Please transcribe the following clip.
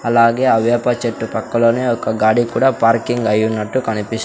అలాగే ఆ వేప చెట్టు పక్కలోనే ఒక గాడి కూడా పార్కింగ్ అయినట్టు కనిపిస్--